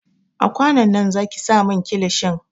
A kwanon nan zaki sa min kilishin!